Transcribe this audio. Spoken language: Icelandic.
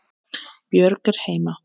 Björg er heima.